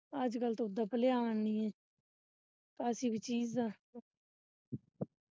ਅੱਜ ਕੱਲ ਤਾਂ ਉਦਾ ਭਲਿਆਣ ਨੀ ਹੈਗਾ ਕਿਸੇ ਵੀ ਚੀਜ ਦਾ